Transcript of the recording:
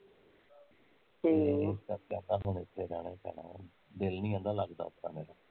ਤੇ ਕਹਿੰਦਾ ਹੁਣ ਇੱਥੇ ਰਹਿਣਾ ਈ ਪੈਣ ਦਿਲ ਨੀ ਕਹਿੰਦਾ ਲੱਗਦਾ ਉਦਾ ਮੇਰਾ